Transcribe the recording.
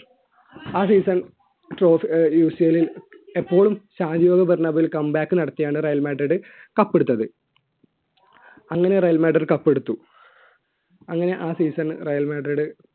ആ seasonUCL ലിൽ എപ്പോളും come back നടത്തിയാണ് റയൽ മാഡ്രിഡ് cup എടുത്തത് അങ്ങനെ റയൽ മാഡ്രിഡ് cup എടുത്തു അങ്ങനെ ആ season റയൽ മാഡ്രിഡ്